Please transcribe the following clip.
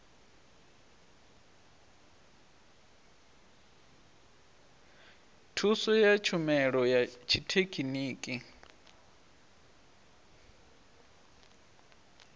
thuso ya tshumelo ya tshithekhiniki